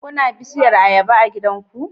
Kuna da bishiyar ayaba a gidanku?